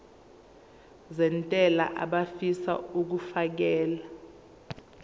nezentela abafisa uukfakela